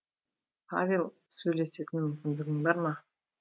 павел сөйлесетін мүмкіндігің бар ма